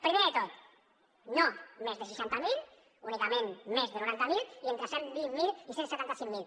primer de tot no més de seixanta miler únicament més de noranta miler i entre cent i vint miler i cent i setanta cinc mil